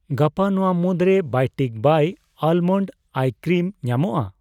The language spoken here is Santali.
ᱜᱟᱯᱟ ᱱᱚᱣᱟ ᱢᱩᱫᱨᱮ Biotique bio almond eye cream ᱧᱟᱢᱚᱜᱼᱟ ?